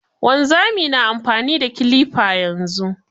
Wanzamai na amfani da kilifa yanzu.